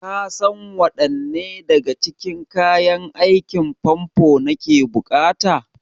Kasan waɗanne daga cikin kayan aikin famfo nake buƙata?